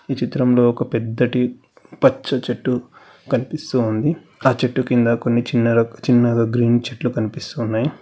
చిత్రంలో ఒక పెద్ద టి పచ్చ చెట్టు కనిపిస్తోంది ఆ చెట్టు కింద కొన్ని చిన్నగా గ్రీన్ చెట్లు కనిపిస్తున్నాయి.